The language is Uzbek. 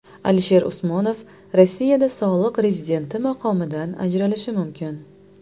Alisher Usmonov Rossiyada soliq rezidenti maqomidan ajralishi mumkin.